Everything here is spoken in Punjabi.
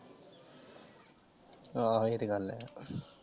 ਆ ਇਹ ਤੇ ਗੱਲ ਹੈ ।